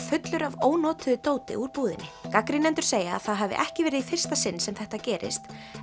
fullur af ónotuðu dóti úr búðinni gagnrýnendur segja að það hafi ekki verið í fyrsta sinn sem þetta gerist